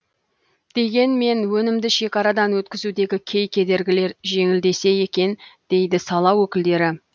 дегенмен өнімді шекарадан өткізудегі кей кедергілер жеңілдесе екен дейді сала өкілдері